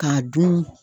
K'a dun